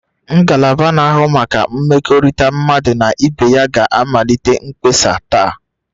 Ngalaba na-ahụ maka mmekọrịta mmadụ na ibe ya ga-amalite mkpesa taa